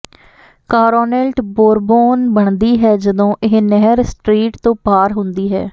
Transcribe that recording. ਕਾਰੌਨੇਲਟ Bourbon ਬਣਦੀ ਹੈ ਜਦੋਂ ਇਹ ਨਹਿਰ ਸਟਰੀਟ ਤੋਂ ਪਾਰ ਹੁੰਦੀ ਹੈ